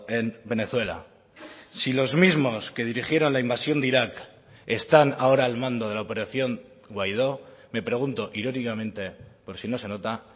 en venezuela si los mismos que dirigieron la invasión de irak están ahora al mando de la operación guaidó me pregunto irónicamente por si no se nota